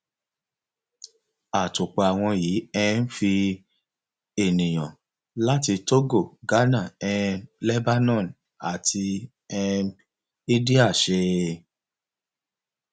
àtòpọ àwọn yìí um fi ènìyàn láti togo ghana um lebanon àti um india ṣe